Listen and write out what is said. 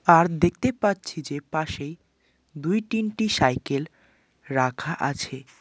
আর দেখতে পাচ্ছি যে পাশেই দুই তিনটি সাইকেল রাখা আছে।